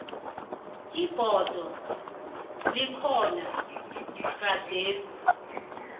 ibhodo ekhona gadesi